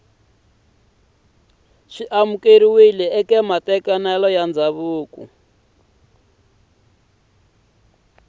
amukeriwa ka matekanelo ya ndzhavuko